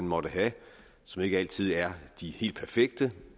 måtte have som ikke altid er helt perfekte